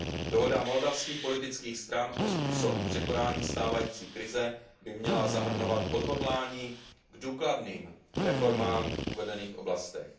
Dohoda moldavských politických stran o způsobu překonání stávající krize by měla zahrnovat odhodlání k důkladným reformám v uvedených oblastech.